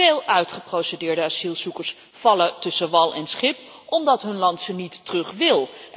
Veel uitgeprocedeerde asielzoekers vallen tussen wal en schip omdat hun land ze niet terug wil.